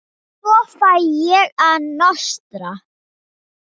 Svo fer ég að nostra.